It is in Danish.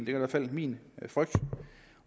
i hvert fald min frygt